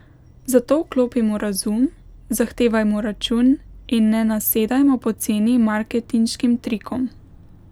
Zato vklopimo razum, zahtevajmo račun in ne nasedajmo poceni marketinškim trikom.